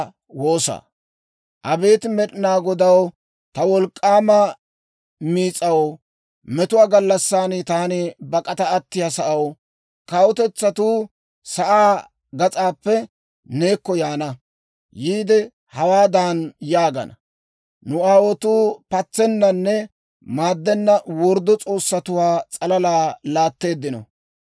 Abeet Med'inaa Godaw, ta wolk'k'aw, ta wolk'k'aama miis'aw, metuwaa gallassan taani bak'ata attiyaa sa'aw, kawutetsatuu sa'aa gas'aappe neekko yaana. Yiide hawaadan yaagana; «Nu aawotuu patsennanne maaddenna worddo s'oossatuwaa s'alala laatteeddino.